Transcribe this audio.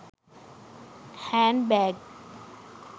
hand bag